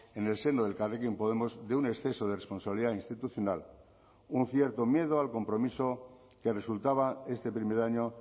en el seno de elkarrekin podemos de un exceso de responsabilidad institucional un cierto miedo al compromiso que resultaba este primer año